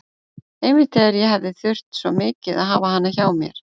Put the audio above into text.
Einmitt þegar ég hefði þurft svo mikið að hafa hana hjá mér.